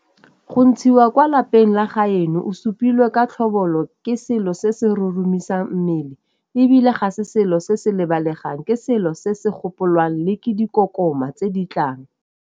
Go ntshiwa kwa lapeng la gaeno o supilwe ka tlhobolo ke selo se se roromisang mmele e bile ga se selo se se lebalegang, ke selo se se gopolwang le ke dikokoma tse di tlang.